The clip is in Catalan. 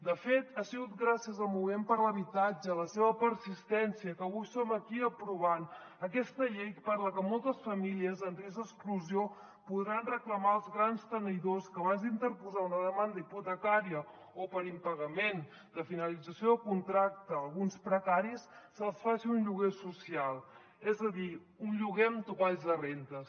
de fet ha sigut gràcies al moviment per l’habitatge a la seva persistència que avui som aquí aprovant aquesta llei per la que moltes famílies en risc d’exclusió podran reclamar als grans tenidors que abans d’interposar una demanda hipotecària o per impagament de finalització de contracte alguns precaris se’ls faci un lloguer social és a dir un lloguer amb topalls de rendes